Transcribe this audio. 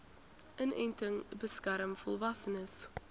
inenting beskerm volwassenes